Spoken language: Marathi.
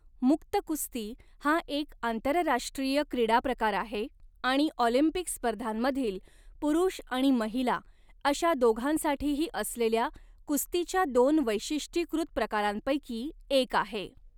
मुक्त कुस्ती हा एक आंतरराष्ट्रीय क्रीडाप्रकार आहे आणि ऑलिम्पिक स्पर्धांमधील पुरुष आणि महिला अशा दोघांसाठीही असलेल्या कुस्तीच्या दोन वैशिष्ट्यीकृत प्रकारांपैकी एक आहे.